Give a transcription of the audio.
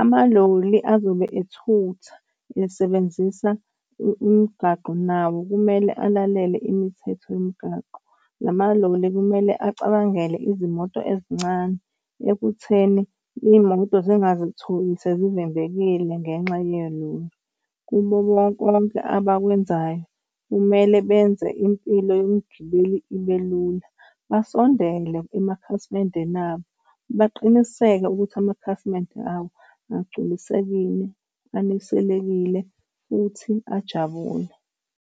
Amaloli azobe ethutha esebenzisa umgaqo nawo kumele alalele imithetho yomgaqo. Lama loli kumele acabangele izimoto ezincane ekutheni iy'moto zingazitholi sezivimbekile ngenxa yeloli. Kubo konke konke abakwenzayo kumele benze impilo yomgibeli ibe lula. Basondele emakhasimendeni abo baqiniseke ukuthi amakhasimende abo agculisekile aneselekile futhi ajabule.